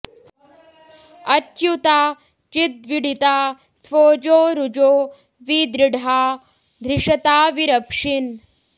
अच्यु॑ता चिद्वीळि॒ता स्वो॑जो रु॒जो वि दृ॒ळ्हा धृ॑ष॒ता वि॑रप्शिन्